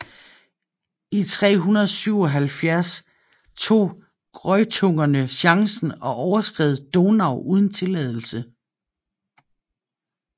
I 377 tog greutungerne chancen og overskred Donau uden tilladelse